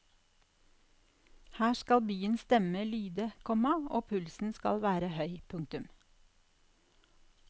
Her skal byens stemme lyde, komma og pulsen skal være høy. punktum